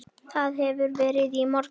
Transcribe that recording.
Það hafði verið í morgun.